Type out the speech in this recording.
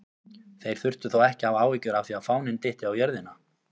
Þeir þurftu þó ekki að hafa áhyggjur af því að fáninn dytti á jörðina!